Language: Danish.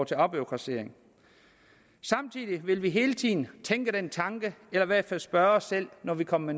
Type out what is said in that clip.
til afbureaukratisering samtidig vil vi hele tiden tænke den tanke eller i hvert fald spørge os selv når vi kommer